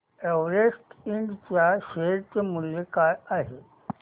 Everest Ind च्या share चे मूल्य काय आहे